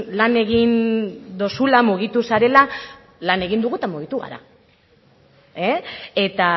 lan egin duzula mugitu zarela lan egin dugu eta mugitu gara eta